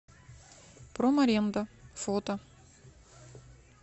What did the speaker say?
промаренда фото